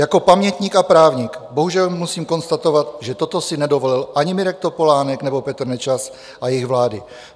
"Jako pamětník a právník bohužel musím konstatovat, že toto si nedovolil ani Mirek Topolánek nebo Petr Nečas a jejich vlády.